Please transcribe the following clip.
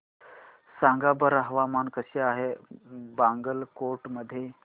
सांगा बरं हवामान कसे आहे बागलकोट मध्ये